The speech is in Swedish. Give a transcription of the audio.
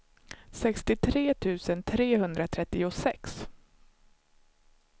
sextiotre tusen trehundratrettiosex